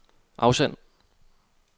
afsend